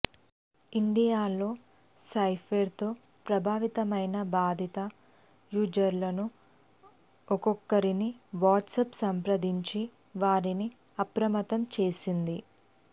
ఇండియాలో స్పైవేర్ తో ప్రభావితమైన బాధిత యూజర్లను ఒక్కొక్కరిని వాట్సాప్ సంప్రదించి వారిని అప్రమత్తం చేసింది